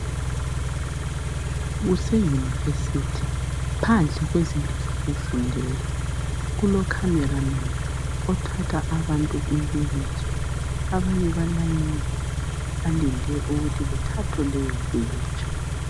Kuse University phandle kwezindlu zokufundela. Kulo camera man othatha abantu impikitsha .Abanye balayinile balindele ukuthi bethathwe leyo mpikitsha.